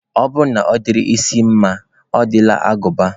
Ọ bụrụ na ọ dịrị isi mma, ọ dịrị agụba